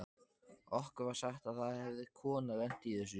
Okkur var sagt að það hefði kona lent í þessu.